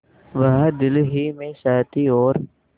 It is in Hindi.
वह दिल ही में सहती और